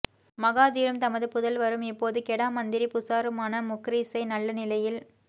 மகாதீரும் தமது புதல்வரும் இப்போது கெடா மந்திரி புசாருமான முக்ரிஸை நல்ல நிலையில்